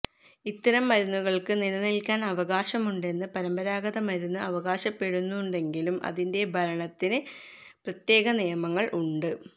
ഇത്തരം മരുന്നുകൾക്ക് നിലനിൽക്കാൻ അവകാശമുണ്ടെന്ന് പരമ്പരാഗത മരുന്ന് അവകാശപ്പെടുന്നുണ്ടെങ്കിലും അതിന്റെ ഭരണത്തിനു പ്രത്യേക നിയമങ്ങൾ ഉണ്ട്